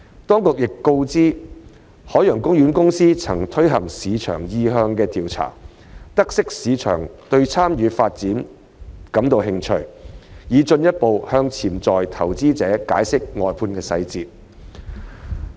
當局亦告知，海洋公園公司曾進行市場意向調查，得悉市場對參與發展感興趣，並已進一步向潛在投資者解釋外判細節。